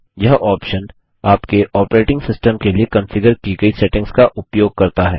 यह ऑप्शन आपके operating system के लिए कंफिगर की गई सेटिंग्स का उपयोग करता है